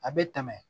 A bɛ tɛmɛ